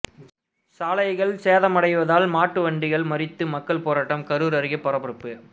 சாலைகள் சேதமடைவதால் மாட்டு வண்டிகளை மறித்து மக்கள் போராட்டம் கரூர் அருகே பரபரப்பு